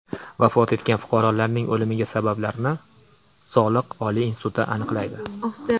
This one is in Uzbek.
Vafot etgan fuqarolarning o‘limi sabablarini Sog‘liq oliy instituti aniqlaydi.